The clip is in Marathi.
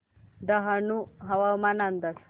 डहाणू हवामान अंदाज